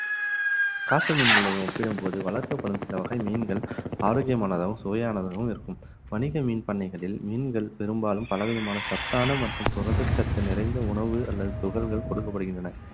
காட்டு மீன்களுடன் ஒப்பிடும்போது வளர்க்கப்படும் சில வகை மீன்கள் ஆரோக்கியமானதாகவும் சுவையானதாகவும் இருக்கும் வணிக மீன் பண்ணைகளில் மீன்கள் பெரும்பாலும் பல விதமான சத்தான மற்றும் புரதச்சத்து நிறைந்த உணவு அல்லது துகள்கள் கொடுக்கப்படுகின்றன